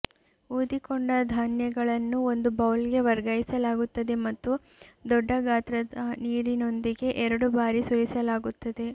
ಊದಿಕೊಂಡ ಧಾನ್ಯಗಳನ್ನು ಒಂದು ಬೌಲ್ಗೆ ವರ್ಗಾಯಿಸಲಾಗುತ್ತದೆ ಮತ್ತು ದೊಡ್ಡ ಗಾತ್ರದ ನೀರಿನೊಂದಿಗೆ ಎರಡು ಬಾರಿ ಸುರಿಸಲಾಗುತ್ತದೆ